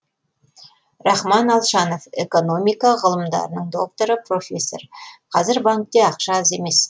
рахман алшанов экономика ғылымдарының докторы профессор қазір банкте ақша аз емес